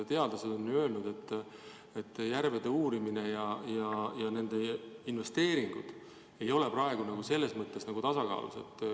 Teadlased on öelnud, et järvede uurimine ja selleks eraldatud investeeringud ei ole praegu tasakaalus.